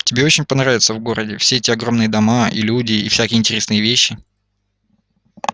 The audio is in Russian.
тебе очень понравится в городе все эти огромные дома и люди и всякие интересные вещи